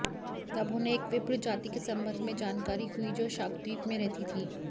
तब उन्हें एक विप्र जाति के संबंध में जानकारी हुई जो शाकद्वीप में रहती थी